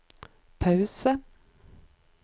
pause